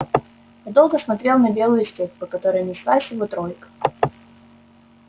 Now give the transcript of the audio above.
я долго смотрел на белую степь по которой неслась его тройка